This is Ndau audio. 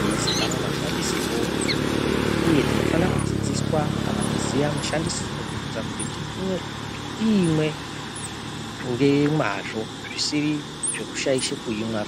yeiziikanwa mashandisirwo, uye tinofana kudzidziswa kana kuziya mushandisire kuitira kuti tiimwe ngemwazvo zvisiri zvekushaishe kuimwa.